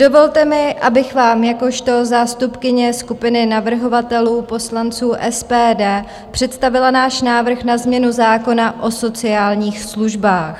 Dovolte mi, abych vám jakožto zástupkyně skupiny navrhovatelů - poslanců SPD představila náš návrh na změnu zákona o sociálních službách.